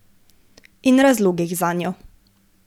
In razlogih zanjo.